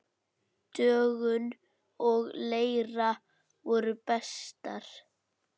Dögun og Leira voru bestar.